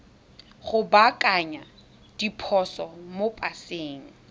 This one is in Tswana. go baakanya diphoso mo paseng